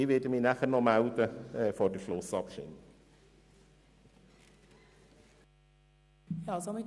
Ich werde mich nachher vor der Schlussabstimmung noch einmal melden.